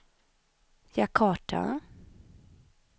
Jakarta